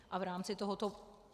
A v rámci tohoto...